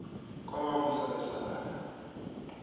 wemavusabesala